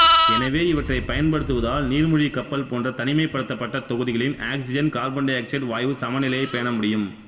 எனவே இவற்றைப் பயன்படுத்துவதால் நீர்மூழ்கிக் கப்பல் போன்ற தனிமைப்படுத்தப்பட்ட தொகுதிகளின் ஆக்சிசன் காபனீரொக்சைட்டு வாயுச்சமநிலையைப் பேண முடியும்